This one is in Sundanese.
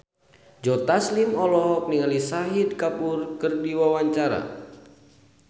Joe Taslim olohok ningali Shahid Kapoor keur diwawancara